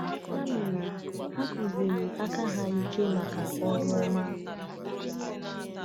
Ya mere, ha kụziri aka ha ike maka ọrụ ọma.”